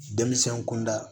Denmisɛn kunda